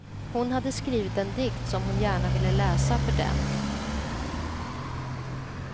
Hon hade skrivit en dikt som hon gärna ville läsa för dem.